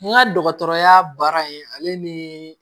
N ka dɔgɔtɔrɔya baara in ale ni